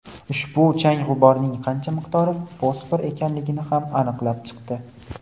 ushbu chang-g‘uborning qancha miqdori fosfor ekanligini ham aniqlab chiqdi.